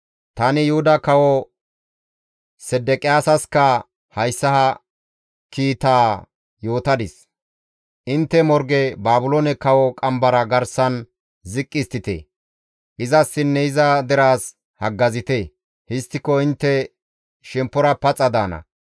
Tani Yuhuda Kawo Sedeqiyaasasika hayssa ha kiitaa yootadis; «Intte morge Baabiloone kawo qambara garsan ziqqi histtite; izassinne iza deraas haggazite; histtiko intte shemppora paxa daana.